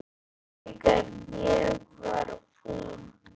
Þegar ég var ungur.